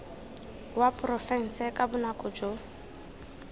wa porofense ka bonako jo